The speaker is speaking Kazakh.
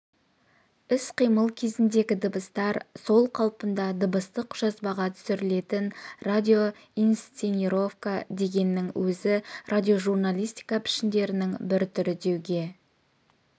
іс-қимыл кезіндегі дыбыстар сол қалпында дыбыстық жазбаға түсірілетін радио-инсценировка дегеннің өзі радиожурналистика пішіндерінің бір түрі деуге